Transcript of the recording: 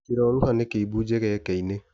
Kĩroruha nĩkĩimbu njegeke-inĩ.